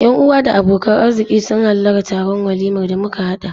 Yan-uwa da abokan arziƙi sun hallara a taron walimar da muka haɗa.